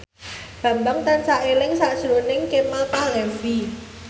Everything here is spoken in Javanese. Bambang tansah eling sakjroning Kemal Palevi